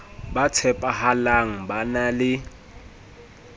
ba tshepahalang ba na le